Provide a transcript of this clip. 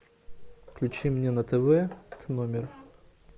включи мне на тв тномер